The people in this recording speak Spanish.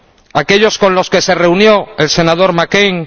¿A aquellos con los que se reunió el senador McCain?